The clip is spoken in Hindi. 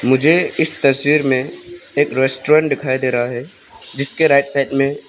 मुझे इस तस्वीर में एक रेस्टोरेंट दिखाई दे रहा है जिसके राइट साइड में--